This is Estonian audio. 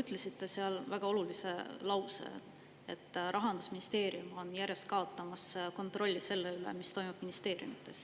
ütlesite seal välja väga olulise mõtte: Rahandusministeerium on järjest kaotamas kontrolli selle üle, mis toimub ministeeriumides.